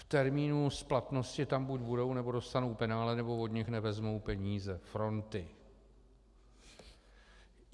V termínu splatnosti tam buď budou, nebo dostanou penále, nebo od nich nevezmou peníze - fronty.